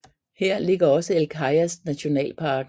Her ligger også El Cajas nationalparken